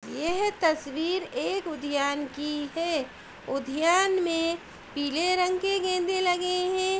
यह तस्वीर एक उद्ययान की है। उद्ययान में पीले रंग के गेंदे लगे हैं।